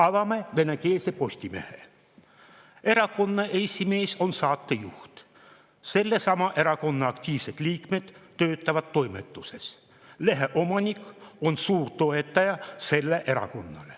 Avame venekeelse Postimehe: erakonna esimees on saatejuht, sellesama erakonna aktiivsed liikmed töötavad toimetuses, lehe omanik on selle erakonna suurtoetaja.